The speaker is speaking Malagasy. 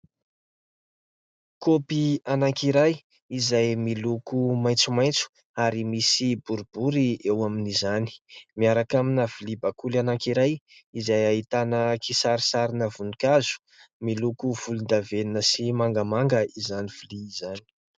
Kaopy anankiray izay miloko maintsomaintso ary misy boribory eo amin'izany. Miaraka amin'ny vilia bakoly anankiray izay ahitana kisarisarina voninkazo miloko volondavenina sy mangamanga izany vilia izany.